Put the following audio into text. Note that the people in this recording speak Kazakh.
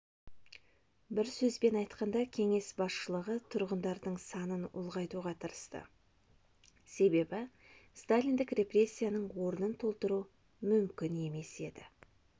бір сөзбен айтқанда кеңес басшылығы тұрғындардың санын ұлғайтуға тырысты себебі сталиндік репрессияның орнын толтыру мүмкін емес еді